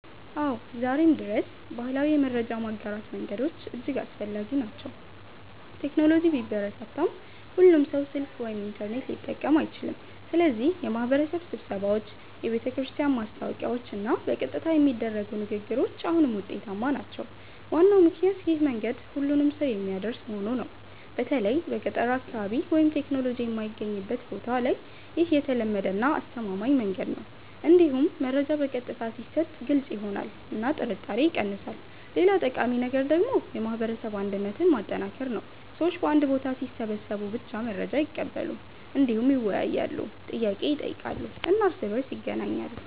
አዎ፣ ዛሬም ድረስ ባህላዊ የመረጃ ማጋራት መንገዶች እጅግ አስፈላጊ ናቸው። ቴክኖሎጂ ቢበረታም ሁሉም ሰው ስልክ ወይም ኢንተርኔት ሊጠቀም አይችልም፣ ስለዚህ የማህበረሰብ ስብሰባዎች፣ የቤተክርስቲያን ማስታወቂያዎች እና በቀጥታ የሚደረጉ ንግግሮች አሁንም ውጤታማ ናቸው። ዋናው ምክንያት ይህ መንገድ ሁሉንም ሰው የሚያደርስ መሆኑ ነው። በተለይ በገጠር አካባቢ ወይም ቴክኖሎጂ የማይገኝበት ቦታ ላይ ይህ የተለመደ እና አስተማማኝ መንገድ ነው። እንዲሁም መረጃ በቀጥታ ሲሰጥ ግልጽ ይሆናል እና ጥርጣሬ ይቀንሳል። ሌላ ጠቃሚ ነገር ደግሞ የማህበረሰብ አንድነትን ማጠናከር ነው። ሰዎች በአንድ ቦታ ሲሰበሰቡ ብቻ መረጃ አይቀበሉም፣ እንዲሁም ይወያያሉ፣ ጥያቄ ይጠይቃሉ እና እርስ በእርስ ይገናኛሉ።